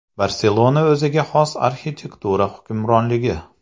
Barselona o‘ziga xos arxitektura hukmronligi.